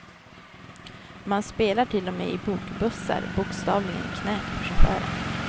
Man spelar till och med i bokbussar, bokstavligen i knät på chauffören.